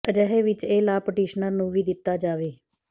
ਅਜਿਹੇ ਵਿਚ ਇਹ ਲਾਭ ਪਟੀਸ਼ਨਰ ਨੂੰ ਵੀ ਦਿਤਾ ਜਾਵੇ